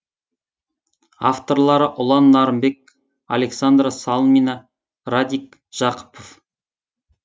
авторлары ұлан нарынбек александра салмина радик жақыпов